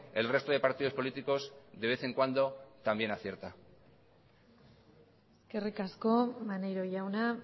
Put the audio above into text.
el resto de partidos políticos de vez en cuando también acierta eskerrik asko maneiro jauna